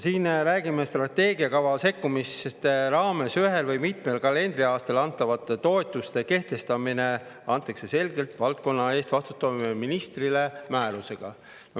Siin me räägime, et strateegiakava sekkumiste raames antakse ühel või mitmel kalendriaastal antavate toetuste kehtestamise õigus valdkonna eest vastutavale ministrile, määrusega.